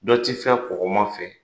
Dɔ tɛ fɛn kɔkɔma fɛ,